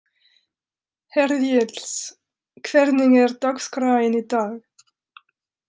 Hergils, hvernig er dagskráin í dag?